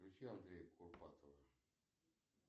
включи андрея курпатова